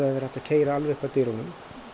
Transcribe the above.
verið hægt að keyra alveg upp að dyrunum